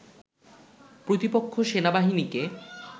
প্রতিপক্ষ সেনাবাহিনীকে